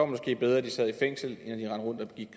måske bedre at de sad i fængsel